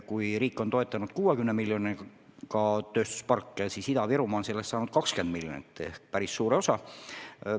Ida-Virumaa on saanud tööstusparkide arendamiseks 20 miljonit ehk päris suure osa sellest summast.